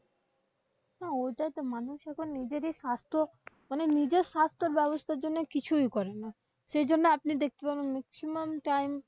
হ্যাঁ, ওটাই তো মানুষ এখন নিজের স্বাস্থ্য মানে নিজের স্বাস্থ্যর ব্যবস্থার জন্য কিছুই করেনা। সেই জন্য আপনি দেখতে পাবেন maximum time